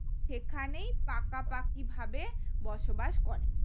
সেখানে পাকা পাকি ভাবে বসবাস করে